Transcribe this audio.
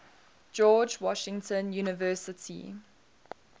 george washington university